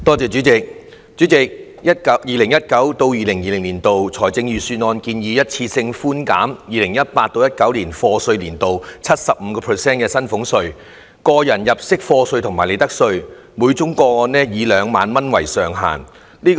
主席 ，2019-2020 年度財政預算案建議一次性寬減 2018-2019 課稅年度 75% 的薪俸稅、個入入息課稅及利得稅，每宗個案以2萬元為上限。